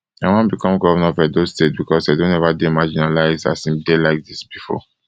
i wan become govnor of edo state becos edo never dey marginalised as im dey like dis bifor